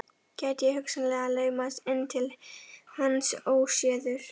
Gæti ég hugsanlega laumast inn til hans óséður?